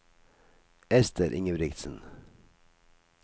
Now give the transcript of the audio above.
Ester Ingebrigtsen